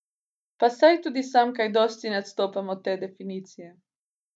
Pa saj tudi sam kaj dosti ne odstopam od te definicije.